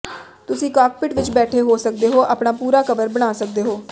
ਤੁਸੀਂ ਕਾਕਪਿਟ ਵਿਚ ਬੈਠ ਸਕਦੇ ਹੋ ਅਤੇ ਆਪਣਾ ਪੂਰਾ ਕਵਰ ਬਣਾ ਸਕਦੇ ਹੋ